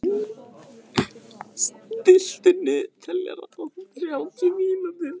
Gulli, stilltu niðurteljara á þrjátíu mínútur.